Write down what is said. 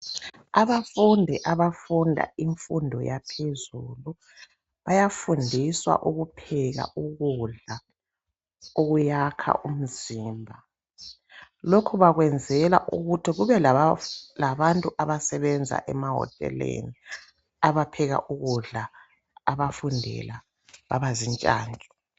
abafundi abafunda imfundo yaphezulu bayfundiswa ukupheka ukudla okuyakha umzimba lokhubakuyenzela ukuthi kube labantu abasebenza ema hoteleni abapheka ukudla abafundela abazintshantshu